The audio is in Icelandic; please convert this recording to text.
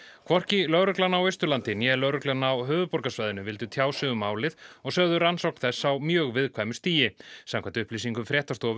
hvorki lögreglan á Austurlandi né lögreglan á höfuðborgarsvæðinu vildu tjá sig um málið og sögðu rannsókn þess á mjög viðkvæmu stigi samkvæmt upplýsingum fréttastofu